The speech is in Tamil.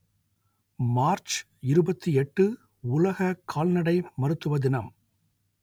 மார்ச் இருபத்தி எட்டு உலக கால்நடை மருத்துவ தினம்